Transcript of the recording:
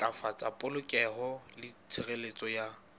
ntlafatsa polokeho le tshireletso ya